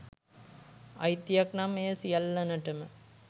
අයිතියක් නම් එය සියල්ලනටම